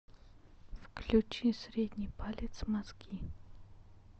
включи средний палец мозги